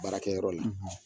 Baarakɛyɔrɔ la;